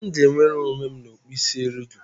M ga-enwere onwe n'ọkpụisieriego?